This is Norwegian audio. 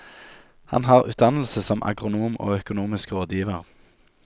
Han har utdannelse som agronom og økonomisk rådgiver.